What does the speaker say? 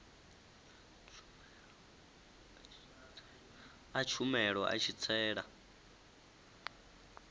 a tshumelo a tshi tsela